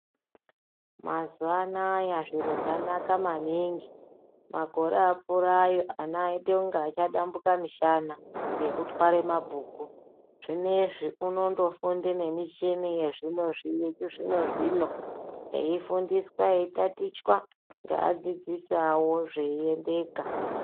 Mazuwanaya zviro zvanaka maningi , makore apfura ayo ana aite kunge achadambuka mishana nekutware mabhuku , zvinezvi unondofunge nemuchini yechizvino zvino eifundiswa eitatichwa ngeadzidzisi awo zveiendeka.